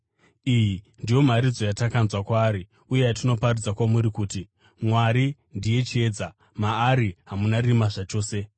Iyi ndiyo mharidzo yatakanzwa kwaari uye yatinoparidza kwamuri kuti: Mwari ndiye chiedza; maari hamuna rima zvachose.